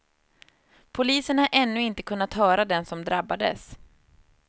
Polisen har ännu inte kunnat höra den som drabbades.